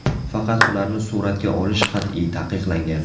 Faqat ularni suratga olish qat’iy taqiqlangan.